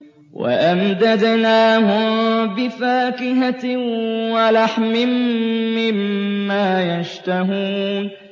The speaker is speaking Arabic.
وَأَمْدَدْنَاهُم بِفَاكِهَةٍ وَلَحْمٍ مِّمَّا يَشْتَهُونَ